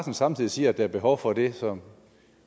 samtidig siger at der er behov for det som